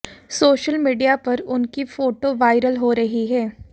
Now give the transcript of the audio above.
social media पर उनकी photo viral हो रही हैं